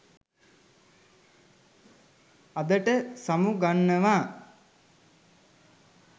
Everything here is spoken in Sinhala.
අදට සමු ගන්නවා